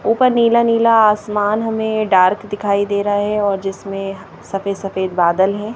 ऊपर नीला नीला आसमान हमें डार्क दिखाई दे रहा है और जिसमें सफेद सफेद बादल हैं।